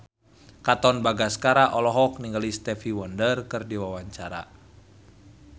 Katon Bagaskara olohok ningali Stevie Wonder keur diwawancara